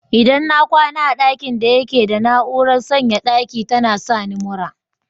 Idan na kwana a dakin daya yake da na'urar sanyaya daki tana sani mura.